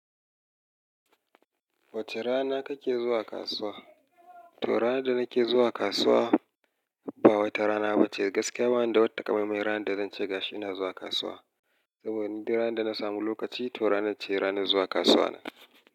Wace rana kake zuwa kasuwa? To ranan da nake zuwa kasuwa ba wata rana ba ce. Gaskiya ba wani da wata ta ka maimai rana da zan ce gashi na zuwa kasuwa. Saboda ni duk rana da na samu lokaci to ranar ce rana zuwa kasuwa na.